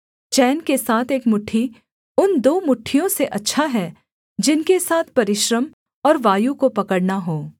चैन के साथ एक मुट्ठी उन दो मुट्ठियों से अच्छा है जिनके साथ परिश्रम और वायु को पकड़ना हो